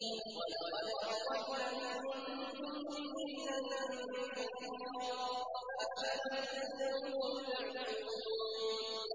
وَلَقَدْ أَضَلَّ مِنكُمْ جِبِلًّا كَثِيرًا ۖ أَفَلَمْ تَكُونُوا تَعْقِلُونَ